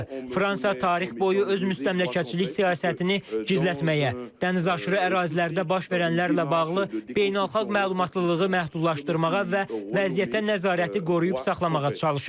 Fransa tarix boyu öz müstəmləkəçilik siyasətini gizlətməyə, dənizaşırı ərazilərdə baş verənlərlə bağlı beynəlxalq məlumatlılığı məhdudlaşdırmağa və vəziyyətə nəzarəti qoruyub saxlamağa çalışıb.